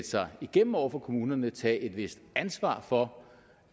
sig igennem over for kommunerne og tage et vist ansvar for